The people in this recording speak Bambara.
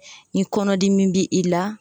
Ni kɔnɔdimi bi i la